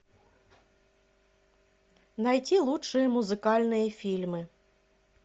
найти лучшие музыкальные фильмы